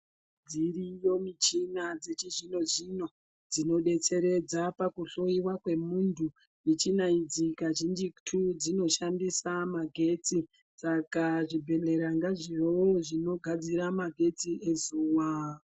Dziriyo michina dzechizvino zvino dzinodetseredza pakuhloiwa kwemuntu. Michina idzi kazhinjitu dzinoshandisa magetsi. Saka zvibhedhlera ngazvivewo zvinogadzira magetsi ezuwa